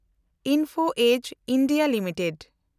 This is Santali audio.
info edge (India) limited